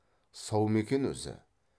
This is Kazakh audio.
сау ма екен өзі